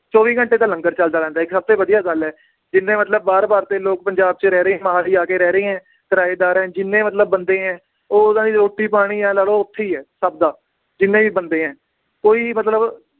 ਚੌਵੀ ਘੰਟੇ ਤਾਂ ਲੰਗਰ ਚਲਦਾ ਰਹਿੰਦਾ ਏ ਇੱਕ ਸਭ ਤੋਂ ਵਧੀਆ ਗੱਲ ਏ ਜਿੰਨੇ ਮਤਲਬ ਬਾਹਰ ਬਾਹਰ ਦੇ ਲੋਕ ਪੰਜਾਬ ਚ ਰਹਿ ਰਹੇ ਮੋਹਾਲੀ ਆ ਕੇ ਰਹਿ ਰਹੇ ਹੈ ਕਿਰਾਏਦਾਰ ਏ ਜਿੰਨੇ ਮਤਲਬ ਬੰਦੇ ਏ, ਉਹ ਉਹਨਾਂ ਦੀ ਰੋਟੀ ਪਾਣੀ ਇਉਂ ਲਾ ਲਓ, ਓਥੇ ਹੀ ਹੈ, ਸਬ ਦਾ ਜਿੰਨੇ ਵੀ ਬੰਦੇ ਏ ਕੋਈ ਵੀ ਮਤਲਬ